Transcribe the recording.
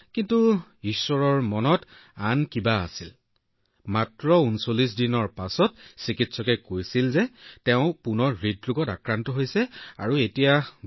কিন্তু ঈশ্বৰৰ মনত আন কিবা আছিল যেতিয়া তাইৰ বয়স মাত্ৰ ৩৯ দিন আছিল চিকিৎসকে কৈছিল যে তাই পুনৰ হৃদৰোগত আক্ৰান্ত হৈছে এতিয়া খুব কম আশা বাকী আছে